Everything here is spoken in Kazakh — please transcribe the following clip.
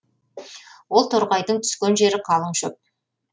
ол торғайдың түскен жері калың шөп